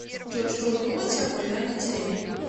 джой что вы думаете о вымирании деревень